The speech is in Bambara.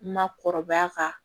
Makɔrɔbaya kan